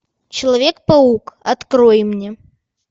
человек паук открой мне